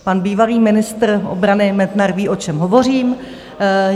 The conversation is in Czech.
Pan bývalý ministr obrany Metnar ví, o čem hovořím.